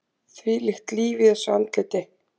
Þvílíkt líf í þessu andliti!